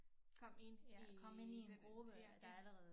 Kom ind i ja det